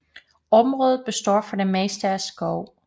Området består for det meste af skov